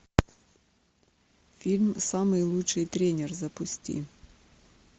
фильм самый лучший тренер запусти